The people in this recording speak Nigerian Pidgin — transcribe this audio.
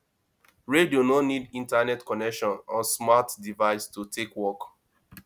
radio no need internet connection or smart device to take work